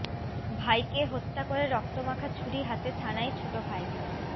ভাইকে হত্যা করে রক্তমাখা ছুরি হাতে থানায় ছোট ভাই